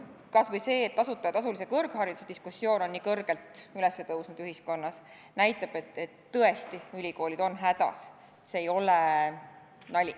Kas või see, et tasuta ja tasulise kõrghariduse diskussioon on ühiskonnas nii üles tõusnud, näitab, et ülikoolid on tõesti hädas, et see ei ole nali.